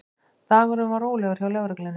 Dagurinn var rólegur hjá lögreglunni